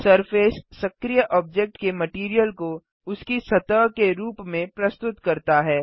surface सक्रीय object के material को उसकी सतह के रूप में प्रस्तुत करता है